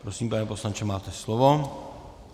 Prosím, pane poslanče, máte slovo.